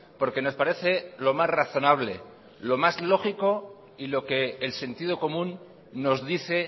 porque nos parece lo más razonable lo más lógico y lo que el sentido común nos dice